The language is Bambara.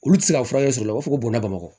Olu tɛ se ka furakɛ sɔrɔ u b'a fɔ ko bɔgɔ bamakɔ